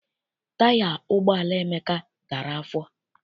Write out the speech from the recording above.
Taya ụgbọala Emeka dara afọ.